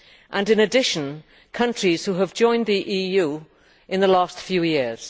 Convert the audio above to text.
and, in addition, countries that have joined the EU in the last few years.